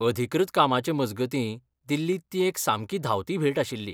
अधिकृत कामाचे मजगतीं दिल्लींत ती एक सामकी धांवती भेट आशिल्ली.